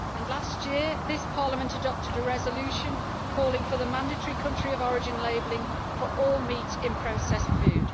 Last year this Parliament adopted a resolution calling for the mandatory country of origin labelling for all meat in processed food.